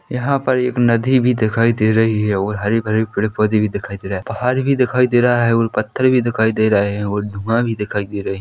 यहाँ पर एक नदी भी दिखाई दे रही हैं और हरे-भरे पेड़-पौधे भी दिखाई दे रहा हैं पहाड़ भी दिखाई दे रहा हैं और पत्थर भी दिखाई दे रहे हैं और धुआं भी दिखाई दे रहे--